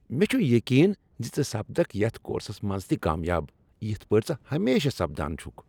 مےٚ چھ یقین ز ژٕ سپدکھ یتھ کورسس منز تہ کامیاب یتھ پٲٹھۍ ژٕ ہمیشہ سپدان چھُکھ۔